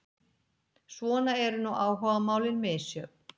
Svona eru nú áhugamálin misjöfn.